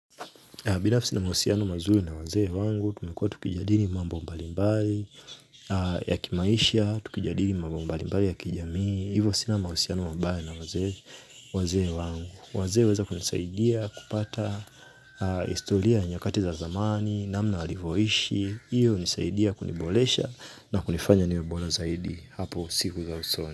Binafsi nina mahusiano mazuri na wazee wangu, tumekua tukijadili mambo mbalimbali ya kimaisha, tukijadili mambo mbalimbali ya kijamii, hivyo sina mahusiano mabai na waze wangu. Wazee huweza kunisaidia kupata historia ya nyakati za zamani, namna walivyoishi, hiyo hunisaidia kuniboresha na kunifanya niwe bora zaidi hapo siku za usoni.